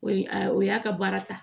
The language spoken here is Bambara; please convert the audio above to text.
O ye a o y'a ka baara ta